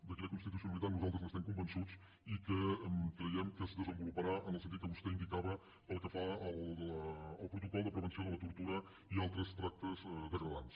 de quina constitucionalitat nosaltres n’estem convençuts i que creiem que es desenvoluparà en el sentit que vostè indicava pel que fa al protocol de prevenció de la tortura i altres tractes degradants